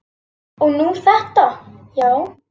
Og nú þetta, já.